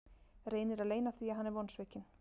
Reynir að leyna því að hann er vonsvikinn.